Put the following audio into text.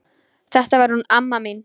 Þetta var hún amma mín.